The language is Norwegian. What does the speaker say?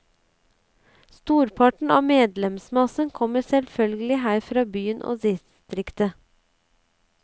Storparten av medlemsmassen kommer selvfølgelig her fra byen og distriktet.